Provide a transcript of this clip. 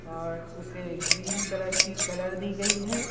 और उसे green colour की कलर दी गई है।